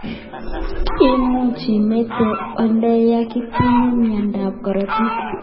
Imuch imitei oleya ngitinye miondab korotik